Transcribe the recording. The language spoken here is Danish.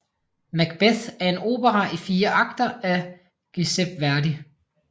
Macbeth er en opera i fire akter af Giuseppe Verdi